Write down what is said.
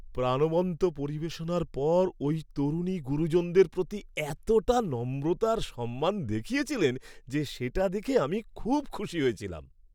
প্রাণবন্ত পরিবেশনার পর ওই তরুণী গুরুজনদের প্রতি এতটা নম্রতা আর সম্মান দেখিয়েছিলেন যে সেটা দেখে আমি খুব খুশি হয়েছিলাম।